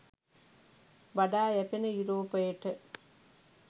වඩා යැපෙන යුරෝපයට